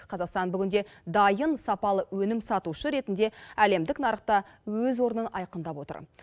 қазақстан бүгінде дайын сапалы өнім сатушы ретінде әлемдік нарықта өз орнын айқындап отыр